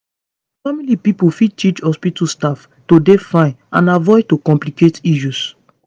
family pipo fit teach hospitu staff to dey fine and avoid to complicate issues